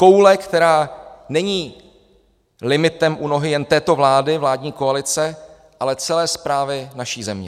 Koule, která není limitem u nohy jen této vlády, vládní koalice, ale celé správy naší země.